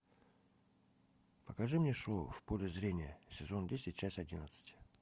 покажи мне шоу в поле зрения сезон десять часть одиннадцать